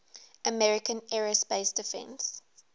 american aerospace defense